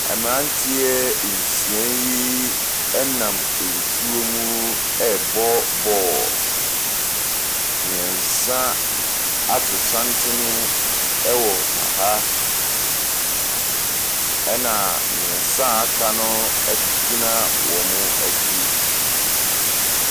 Mmeranteɛ nsia yi nam nsuo mu ɛrebɔ bɔɔlo, mmiɛnsa ato santene wɔ ha, na mmiɛnsa a aka no gyina wɔn akyi.